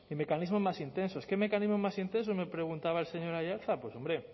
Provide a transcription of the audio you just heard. mecanismos más intensos qué mecanismos más intensos me preguntaba el señor aiartza pues hombre